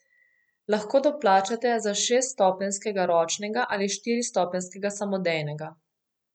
Lahko doplačate za šeststopenjskega ročnega ali štiristopenjskega samodejnega.